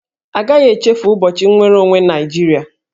A gaghị echefu ụbọchị nnwere onwe Naịjirịa